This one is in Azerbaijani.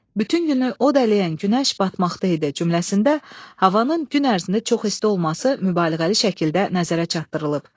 Bütün günü od ələyən günəş batmaqda idi cümləsində havanın gün ərzində çox isti olması mübaliğəli şəkildə nəzərə çatdırılıb.